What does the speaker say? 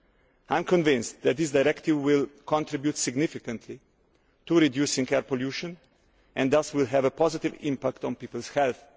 I am convinced that this directive will contribute significantly to reducing air pollution and thus will have a positive impact on people's health.